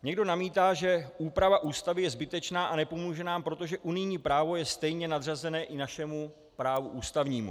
Někdo namítá, že úprava Ústavy je zbytečná a nepomůže nám, protože unijní právo je stejně nadřazené i našemu právu ústavnímu.